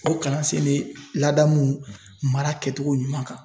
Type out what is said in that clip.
O kalansen be ladamu mara kɛcogo ɲuman kan.